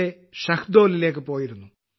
യിലെ ഷഹ്ദോലിലേക്ക് പോയിരുന്നു